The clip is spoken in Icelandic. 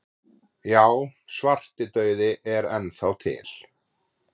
Já, svartidauði er enn þá til.